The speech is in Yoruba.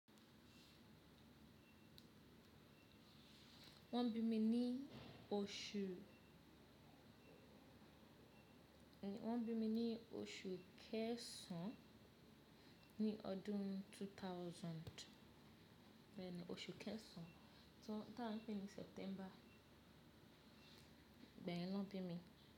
Wọ́n bí mi ní oṣù, wọ́n bí mi ní oṣù kẹsàn án ní ọdún two thousand. Bẹ́ẹ̀ni oṣù kẹsàn án, to, táa ń pe ní September. Ibe yen naa bí mi.